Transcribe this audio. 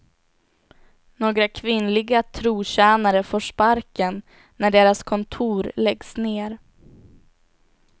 Några kvinnliga trotjänare får sparken när deras kontor läggs ned.